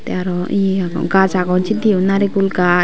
te aro ye ago gaj agon sekkeyo naregul gach.